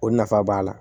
O nafa b'a la